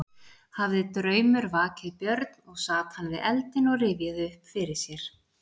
Hafði draumur vakið Björn og sat hann við eldinn og rifjaði upp fyrir sér.